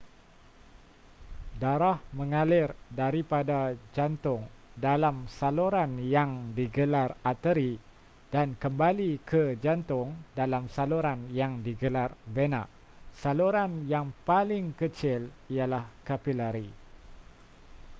darah mengalir daripada jantung dalam saluran yang digelar arteri dan kembali ke jantung dalam saluran yang digelar vena saluran yang paling kecil ialah kapilari